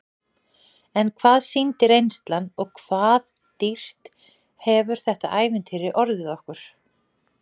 En hvað sýndi reynslan og hvað dýrt hefur þetta ævintýri orðið okkur?